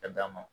Ka d'a ma